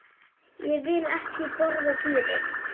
Ég vil ekki borða dýrin.